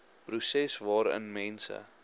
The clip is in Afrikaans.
proses waarin mense